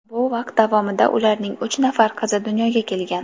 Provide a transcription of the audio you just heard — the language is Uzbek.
Bu vaqt davomida ularning uch nafar qizi dunyoga kelgan.